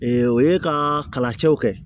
o ye ka kalacɛw kɛ